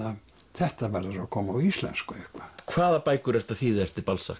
þetta verður að koma á íslensku eitthvað hvað bækur ertu að þýða eftir